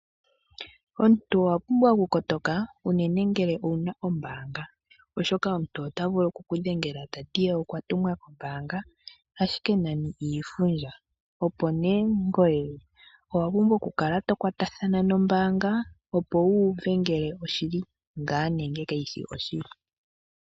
Omuntu owapumbwa okukotoka unene ngele owuna ombaanga, oshoka omuntu otavulu okukudhengela tati okwatumwa kombaanga ashike nani iifundja. Ngoye owapumbwa okukala tokwatathana nombaanga opo wuuve ngaa ngele oshili nenge kaishi oshili.